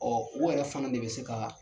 Ɔ u yɛrɛ fana de bɛ se ka